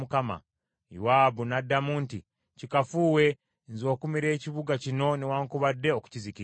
Yowaabu n’addamu nti, “Kikafuuwe, nze okumira ekibuga kino newaakubadde okukizikiriza.